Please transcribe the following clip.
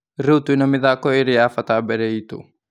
Rĩ u twĩ na mĩ thako ĩ rĩ ya bata mbere itũ